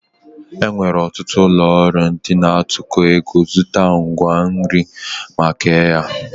E nwere ọtụtụ ụlọọrụ ndị na-atụkọ ego zụta ngwa nri ma kee ya